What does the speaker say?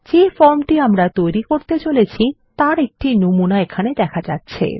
যে ফর্মটি আমরা তৈরী করতে চলেছি তার একটি নমুনা এখানে দেখা যাচ্ছে